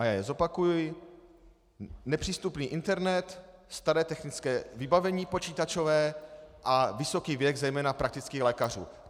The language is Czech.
A já je zopakuji: nepřístupný internet, staré technické vybavení počítačové a vysoký věk zejména praktických lékařů.